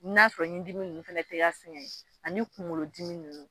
N'a sɔrɔ ɲindimi ninnu fana tɛ k'a sɛgɛn ani kunkolodimi ninnu